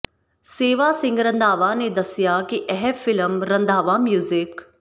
ਮੇਵਾ ਸਿੰਘ ਰੰਧਾਵਾ ਨੇ ਦੱਸਿਆ ਕਿ ਇਹ ਫ਼ਿਲਮ ਰੰਧਾਵਾ ਮਿਊਜ਼ਿਕ